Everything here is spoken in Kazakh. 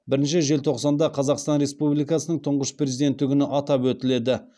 бірінші желтоқсанда қазақстан республикасының тұңғыш президенті күні атап өтіледі